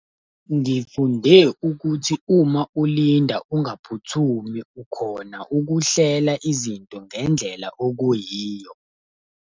Ngifunde ukuthi uma ulinda ungaphuthumi ukhona ukuhlela izinto ngendlela okuyiyo.